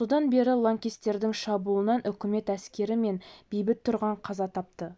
содан бері лаңкестердің шабуылынан үкімет әскері мен бейбіт тұрғын қаза тапты